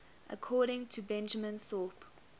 according to benjamin thorpe